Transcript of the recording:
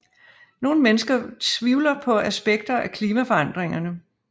Nogle mennesker tviler på aspekter af klimaforandringerne